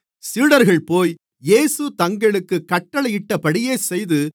சீடர்கள்போய் இயேசு தங்களுக்குக் கட்டளையிட்டபடியே செய்து